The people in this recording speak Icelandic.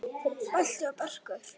Balti og Börkur!